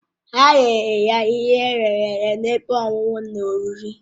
Ha nyere ya ihe eyere eye na ebe ọṅụṅụ na oriri